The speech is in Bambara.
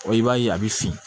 i b'a ye a bɛ fin